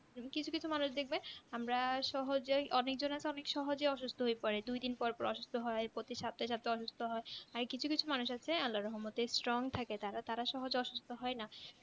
কিছু কিছু মানুষ দেখবে আমরা সহজেই অনেকজন তো অনেক সহজেই অসুস্ত হয়ে পরে দুই দিন পর পর অসুস্ত হয় পড়ি সপ্তাহে সপ্তাহে অসুস্ত হয় আর কিছু কিছু মানুষ আছে আল্লার রহমতে Strong থাকে তারা তারা সহজে অসুস্ত হয় না